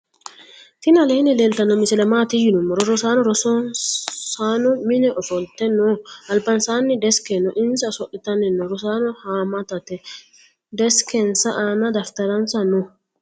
tini aleni leltano misile maati yinumoro roosano roosano mine offolte noo. albansani desike noo. insa ooso'litani noo roosano hamatate. desikensa aana dafitaransa noo.